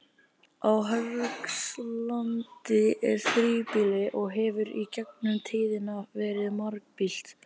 Á Hörgslandi er þríbýli og hefur í gegnum tíðina verið margbýlt.